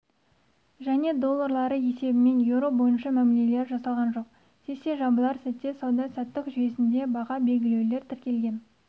және доллары есебімен еуро бойынша мәмілелер жасалған жоқ сессия жабылар сәтте сауда-саттық жүйесінде баға белгілеулер тіркелген